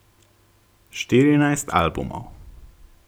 Štirinajst albumov.